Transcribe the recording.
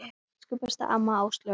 Elsku besta amma Áslaug okkar.